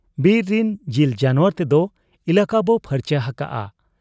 ᱵᱤᱨ ᱨᱤᱱ ᱡᱤᱞ ᱡᱟᱱᱣᱟᱨ ᱛᱮᱫᱚ ᱮᱞᱟᱠᱟ ᱵᱚ ᱯᱷᱟᱨᱪᱟ ᱦᱟᱠᱟᱜ ᱟ ᱾